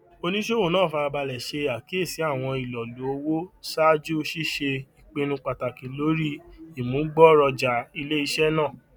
oluṣowo naa farabalẹ ṣe akiyesi awọn ilolu owo ṣaaju ṣiṣe ipinnu pataki lori imugboroja ileiṣẹ naa